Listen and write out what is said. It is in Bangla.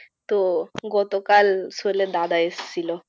তো গতকাল সোহেলের দাদা এসছিল।